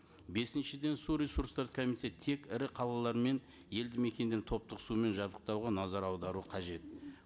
бесіншіден су ресурстары көмитеті тек ірі қалалар мен елді мекенді топтық сумен жабдықтауға назар аудару қажет